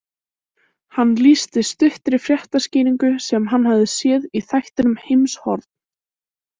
Hann lýsti stuttri fréttaskýringu sem hann hafði séð í þættinum Heimshorn.